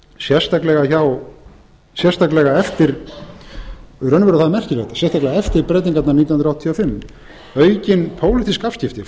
sérstaklega í raun og veru er það merkilegt sérstaklega eftir breytingarnar nítján hundruð áttatíu og fimm aukin pólitísk afskipti